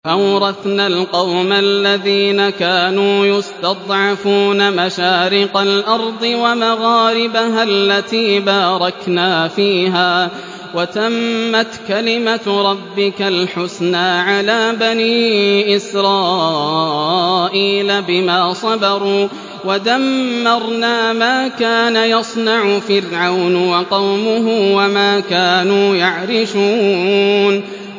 وَأَوْرَثْنَا الْقَوْمَ الَّذِينَ كَانُوا يُسْتَضْعَفُونَ مَشَارِقَ الْأَرْضِ وَمَغَارِبَهَا الَّتِي بَارَكْنَا فِيهَا ۖ وَتَمَّتْ كَلِمَتُ رَبِّكَ الْحُسْنَىٰ عَلَىٰ بَنِي إِسْرَائِيلَ بِمَا صَبَرُوا ۖ وَدَمَّرْنَا مَا كَانَ يَصْنَعُ فِرْعَوْنُ وَقَوْمُهُ وَمَا كَانُوا يَعْرِشُونَ